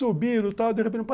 Subiram e tal.